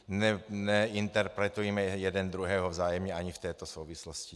Neinterpretujme jeden druhého vzájemně ani v této souvislosti.